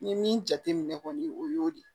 N ye min jate minɛ kɔni o y'o de